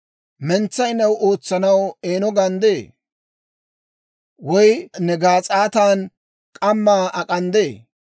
«Mentsay new ootsanaw eeno ganddee? Woy ne gaas'aatan k'ammaa ak'anddee?